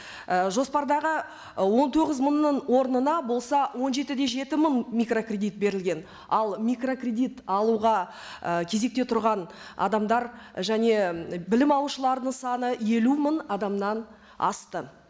і жоспардағы ы он тоғыз мыңның орнына болса он жеті де жеті мың микрокредит берілген ал микрокредит алуға і кезекте тұрған адамдар және білім алушылардың саны елу мың адамнан асты